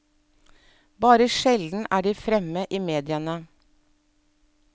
Bare sjelden er de fremme i mediene.